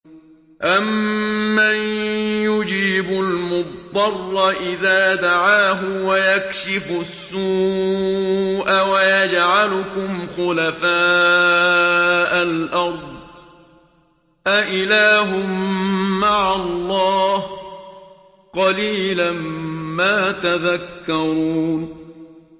أَمَّن يُجِيبُ الْمُضْطَرَّ إِذَا دَعَاهُ وَيَكْشِفُ السُّوءَ وَيَجْعَلُكُمْ خُلَفَاءَ الْأَرْضِ ۗ أَإِلَٰهٌ مَّعَ اللَّهِ ۚ قَلِيلًا مَّا تَذَكَّرُونَ